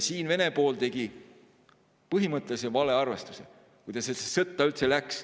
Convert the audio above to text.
Vene pool tegi põhimõttelise valearvestuse, kui ta sellesse sõtta üldse läks.